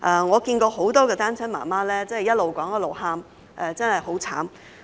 我看過很多單親媽媽一邊說一邊哭，真的很慘。